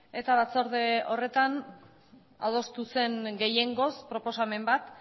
eta batzorde horretan adostu zen gehiengoz proposamen bat